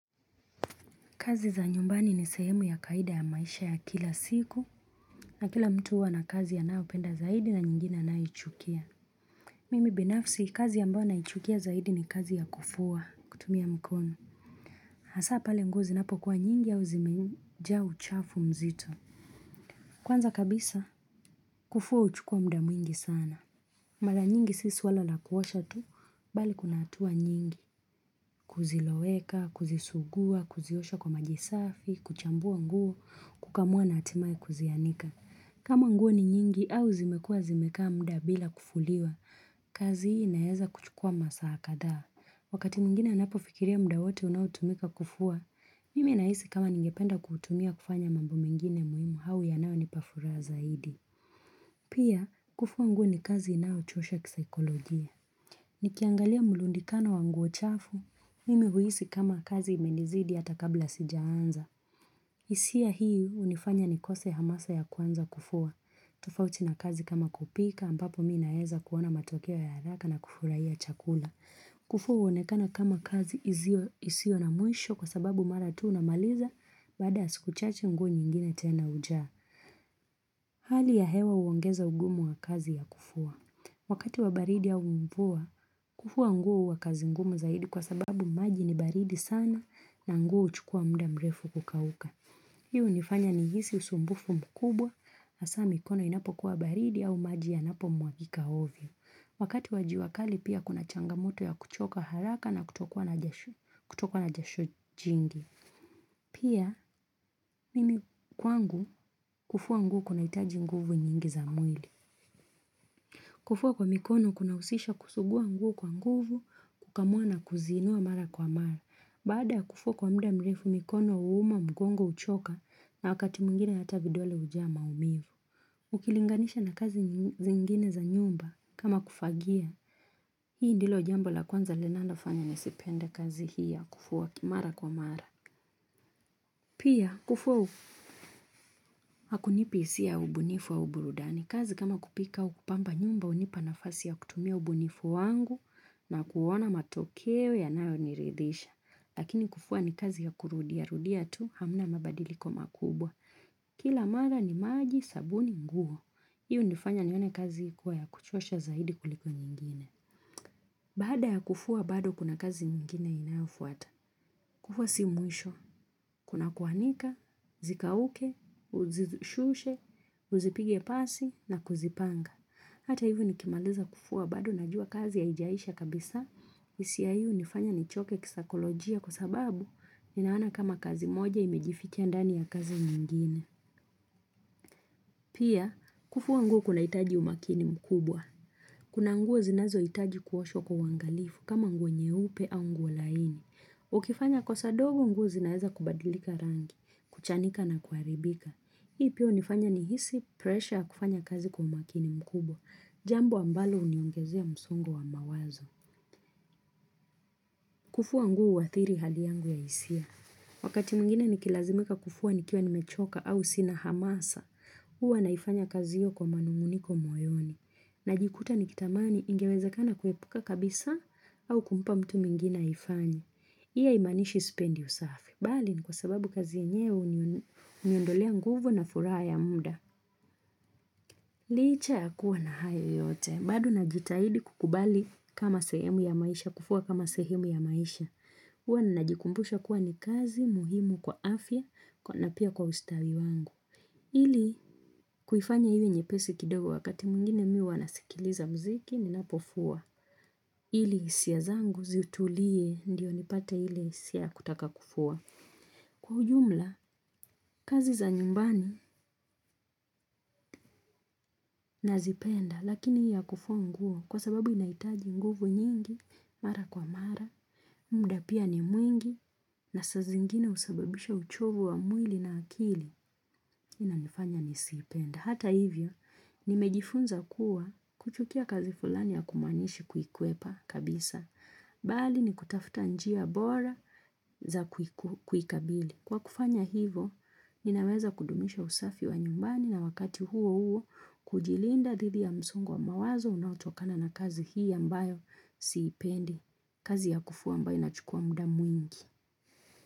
Kazi za nyumbani ni sehemu ya kawaida ya maisha ya kila siku na kila mtu huwana kazi anayo penda zaidi na nyingine anayoichukia. Mimi binafsi kazi ambayo na ichukia zaidi ni kazi ya kufua kutumia mkono. Hasa pale nguo zinapo kuwa nyingi au zimejaa uchafu mzito. Kwanza kabisa kufua huchukua muda mwingi sana. Mara nyingi si swala la kuosha tu, bali kuna hatua nyingi. Kuziloweka, kuzisugua, kuziosha kwa maji safi, kuchambua nguo, kukamua na hatimaye kuzianika. Kama nguo ni nyingi au zimekua zimekaa muda bila kufuliwa, kazi hii inaeza kuchukua masaa kadhaa. Wakati mwingine ninapofikiria muda wote unao tumika kufua, mimi nahisi kama ningependa ku utumia kufanya mambo mengine muhimu au yanayo nipa furaha zaidi. Pia, kufua nguo ni kazi inayochosha kisaikolojia. Nikiangalia mulundikano wanguo chafu, mimi huhisi kama kazi imenizidi hata kabla sija anza. Hisia hii hunifanya nikose hamasa ya kuanza kufua. Tofauti na kazi kama kupika ambapo mimi naeza kuona matokeo ya haraka na kufurahia chakula. Kufua huonekana kama kazi isio na mwisho kwa sababu maratu unamaliza baada ya siku chache nguo nyingine tena hujaa Hali ya hewa huongeza ugumu wa kazi ya kufua Wakati wa baridi au mvua, kufua nguo huwa kazi ngumu zaidi kwa sababu maji ni baridi sana na nguo huchukua muda mrefu kukauka Hii hunifanya nihisi usumbufu mkubwa hasa mikono inapo kuwa baridi au maji ya napo mwagika ovyo Wakati wajua kali pia kuna changamoto ya kuchoka haraka na kutokwa na jasho jingi. Pia mimi kwangu kufua nguo kunahitaji nguvu nyingi za mwili. Kufua kwa mikono kuna husisha kusugua nguo kwa nguvu kukamua na kuziinua mara kwa mara. Baada ya kufua kwa muda mrefu mikono huuma mgongo huchoka na wakati mwingine hata vidole hujaa maumivu. Ukilinganisha na kazi zingine za nyumba kama kufagia. Hii ndilo jambo la kwanza linalofanya nisipende kazi hii ya kufua mara kwa mara. Pia, kufua hu Hakunipi hisia ubunifu au burudani. Kazi kama kupika au kupamba nyumba hunipa nafasi ya kutumia ubunifu wangu na kuona matokeo yanayo niridhisha. Lakini kufua ni kazi ya kurudia rudia tu hamna mabadiliko makubwa. Kila mara ni maji sabuni nguo. Hii hunifanya nione kazi ikiwa ya kuchosha zaidi kuliko nyingine. Baada ya kufua bado kuna kazi ingine inayofuata. Kufua si mwisho. Kuna kuanika, zikauke, uzishushe, uzipige pasi na kuzipanga. Hata hivo nikimaliza kufua bado najua kazi haijaisha kabisa. Hisia hii hunifanya nichoke kisaikolojia kwa sababu ninaona kama kazi moja imejificha ndani ya kazi nyingine Pia, kufua nguo kunahitaji umakini mkubwa. Kuna nguo zinazo hitaji kuoshwa kwa uangalifu kama nguo nyeupe au nguo laini. Ukifanya kosa ndogo nguo zinaweza kubadilika rangi, kuchanika na kuharibika. Hii pia hunifanya nihisi pressure ya kufanya kazi kwa umakini mkubwa. Jambo ambalo huniongezea msongo wa mawazo. Kufua nguo huathiri hali yangu ya hisia. Wakati mwingine nikilazimika kufua nikiwa nimechoka au sina hamasa, huwa naifanya kazi hiyo kwa manunguniko moyoni. Najikuta nikitamani ingewezekana kuepuka kabisaa au kumpa mtu mwingina aifanye hii haimanishi sipendi usafi. Bali ni kwa sababu kazi yenyewe huniondolea nguvu na furaha ya muda. Licha ya kuwa na hayo yote, bado najitahidi kukubali kama sehemu ya maisha, kufua kama sehemu ya maisha. Huwa najikumbusha kuwa ni kazi muhimu kwa afya na pia kwa ustawi wangu. Ili, kuifanya iwe nyepesi kidogo wakati mwingine mimi huwa nasikiliza muziki, ninapofua. Ili, hisia zangu zitulie, ndio nipate ile hisia ya kutaka kufua. Kwa ujumla, kazi za nyumbani nazipenda lakini hii ya kufua nguo kwa sababu inahitaji nguvu nyingi mara kwa mara, muda pia ni mwingi na saa zingine husababisha uchovu wa mwili na akili hii inanifanya nisiipende Hata hivyo, nimejifunza kuwa kuchukia kazi fulani hakumanishi kuikwepa kabisa, bali ni kutafuta njia bora za kuikabili. Kwa kufanya hivo, ninaweza kudumisha usafi wa nyumbani na wakati huo huo kujilinda dhidi ya msongo wa mawazo unaotokana na kazi hii ambayo siipendi, kazi ya kufua ambayo inachukua muda mwingi.